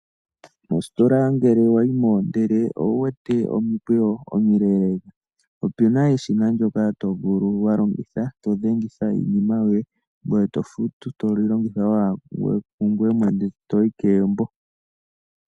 Mositola ngele wayi mo ndele owu wete omikweyo omileelee, opena eshina ndyoka to vulu wa longitha to dhengitha iinima yoye ngoye to futu toli longitha owala kungweye mwene, toyi kegumbo.